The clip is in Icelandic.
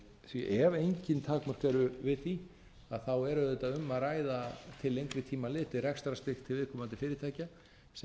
því ef engin takmörk eru við því er auðvitað um að ræða til lengri tíma litið rekstrarstyrk til viðkomandi fyrirtækja sem